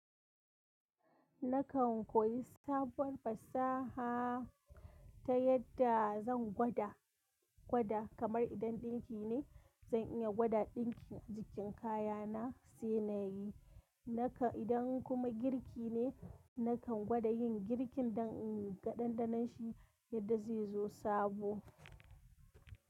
Nakan koyi sabuwar fasaha ta yadda zan gwada. Gwada kamar idan dinki ne, zan iya gwada dinkin a jikin kaya na sai nayi. Nakan idan kuma girki ne, nakan gwada yin girkin dan in ga dandanon shi yadda zai zo sabo.